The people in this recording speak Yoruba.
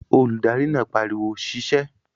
Olùdarí náà pariwo "sisẹ́"